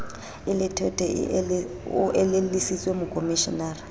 e lethwethwe o elellwise mokomishenara